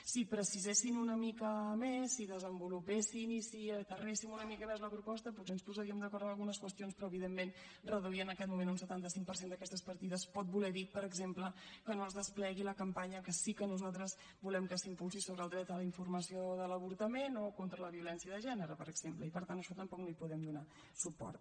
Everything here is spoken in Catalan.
si precisessin una mica més si desenvolupessin i si aterréssim una mica més la proposta potser ens posaríem d’acord en algunes qüestions però evidentment reduir en aquest moment un setanta cinc per cent d’aquestes partides pot voler dir per exemple que no es desplegui la campanya que sí que nosaltres volem que s’impulsi sobre el dret a la informació de l’avortament o contra la violència de gènere per exemple i per tant a això tampoc no hi podem donar suport